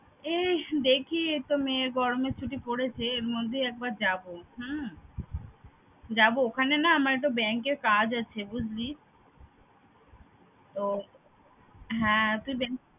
এই দেখি এইতো মেয়ের গরমের ছুটি পরেছে, এর মধ্যেই একবার যাবো হম যাবো ওখানে না আমার একটা bank এর কাজ আছে বুঝলি। ও হ্যাঁ তুই bank